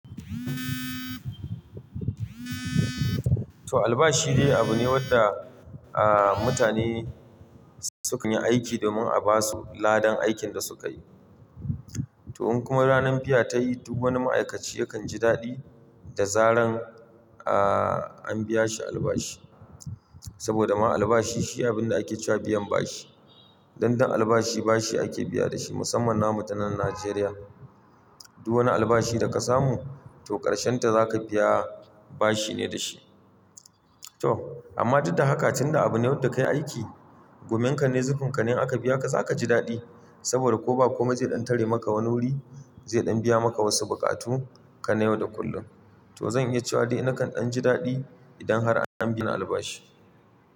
To albashi dai abu ne wanda, aaa mutane sukan yi aiki domin a basu ladan aikin da sukayi. To in kuma ranan fiya ta yi, duk wani ma'aikaci yakan ji daɗi da zaran, aaaa an biya shi albashi. Saboda ma albashi shi abin da ake cewa biyan bashi. Dan dan albashi bashi ake biya da shi musamman na mutanen Najeriya. Duk wani albashi da ka samu to ƙarshenta zaka biya bashi ne da shi. To amma duka haka tunda abu ne wanda kayi aiki, gumanka ne zukanka in aka biya ka zaka ji daɗi. Saboda ko ba komai zai ɗan tare maka wani wuri, zai ɗan biya maka wasu buƙatu kan yau da kullum. To zan iya cewa dai nakan jin daɗi idan har an bi ni albashi.